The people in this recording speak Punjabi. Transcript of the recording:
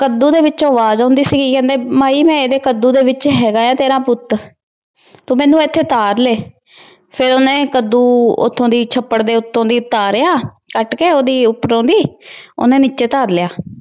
ਕੱਦੂ ਦੇ ਵਿੱਚੋ ਅਵਾਜ ਆਉਂਦੀ ਸੀਗੀ ਕਹਿੰਦੇ ਮਾਈ ਮੈ ਇਹਦੇ ਕੱਦੂ ਦੇ ਵਿੱਚ ਹੈਗਾ ਆ ਤੇਰਾ ਪੁੱਤ ਤੂੰ ਮੈਨੂੰ ਇਥੋਂ ਉਤਾਰ ਲੈ। ਫਿਰ ਉਹਨੇ ਕੱਦੂ ਉਥੋ ਦੀ ਛੱਪੜ ਦੇ ਉੱਤੋਂ ਦੀ ਤਾਰਿਆ, ਕੱਟ ਕੇ ਉਹਦੀ ਉਪਰੋ ਦੀ। ਉਹਨੇ ਨੀਚੇ ਉਤਾਰ ਲਿਆ।